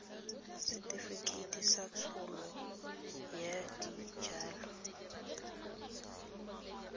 setefikeiti sa tsholo ya dijalo